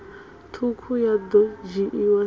ṱhukhu ya ḓo dzhiiwa sa